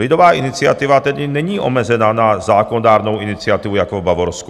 Lidová iniciativa tedy není omezena na zákonodárnou iniciativu jako v Bavorsku.